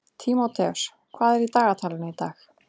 Tímóteus, hvað er í dagatalinu í dag?